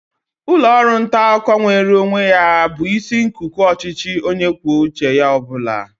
Ụlọ ọrụ nta akụkọ nweere onwe ya bụ isi nkuku ọchịchị onye kwuo uche ya ọ bụla.